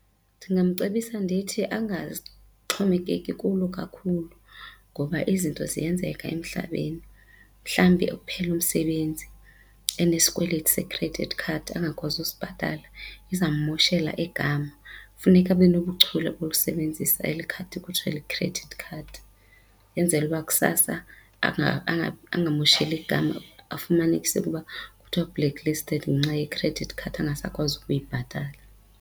Ndingamcebisa ndithi angaxhomekeki kulo kakhulu ngoba izinto ziyenzeka emhlabeni mhlawumbi ekuphela umsebenzi enesikweleti se-credit card angakwazi usibhatala izawummoshela igama. Funeka abe nobuchule bokusebenzisa eli khadi kuthwa yi-credit card yenzelwe ukuba kusasa angamosheli igama afumanise ukuba kuthiwa u-black listed ngenxa ye-credit card ungasakwazi ukuyibhatala.